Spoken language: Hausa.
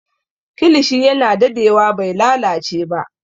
Kilishi yana dadewa bai lalace ba